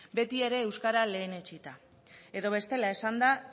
beti ere euskara lehenetsita edo bestela esanda